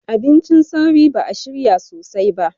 Abincin sauri ba a shirya sosai ba